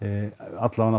alla vega